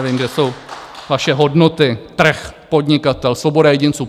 Nevím, kde jsou vaše hodnoty - trh, podnikatel, svoboda jedinců.